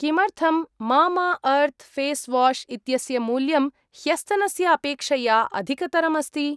किमर्थं मम अर्त् फेस् वाश् इत्यस्य मूल्यं ह्यस्तनस्य अपेक्षया अधिकतरम् अस्ति?